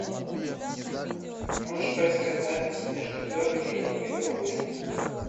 можешь поискать запись между бернли и ливерпулем